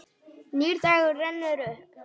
Nýr dagur rennur upp.